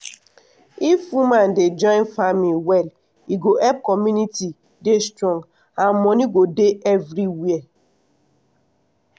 if woman dey join farming well e go help community dey strong and money go dey everywhere.